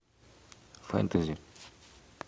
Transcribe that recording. фэнтези